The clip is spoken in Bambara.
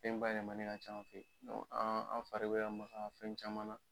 Fɛn bayɛlɛmanen ka ca an fɛ yen. an fari be ka maka fɛn caman na.